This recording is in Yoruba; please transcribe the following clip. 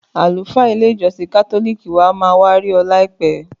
Àlùfáà ilé ìjósìn kátólìkì wa ma wá ri óò láìpé